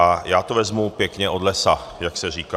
A já to vezmu pěkně od lesa, jak se říká.